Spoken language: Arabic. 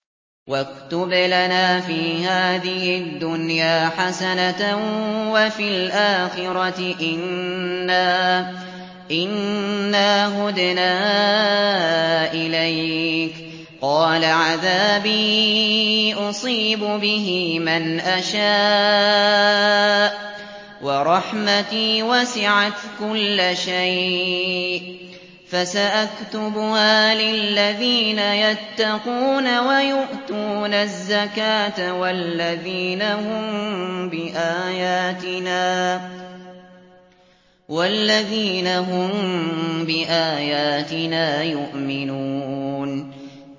۞ وَاكْتُبْ لَنَا فِي هَٰذِهِ الدُّنْيَا حَسَنَةً وَفِي الْآخِرَةِ إِنَّا هُدْنَا إِلَيْكَ ۚ قَالَ عَذَابِي أُصِيبُ بِهِ مَنْ أَشَاءُ ۖ وَرَحْمَتِي وَسِعَتْ كُلَّ شَيْءٍ ۚ فَسَأَكْتُبُهَا لِلَّذِينَ يَتَّقُونَ وَيُؤْتُونَ الزَّكَاةَ وَالَّذِينَ هُم بِآيَاتِنَا يُؤْمِنُونَ